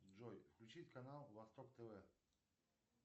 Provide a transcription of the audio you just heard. джой включить канал восток тв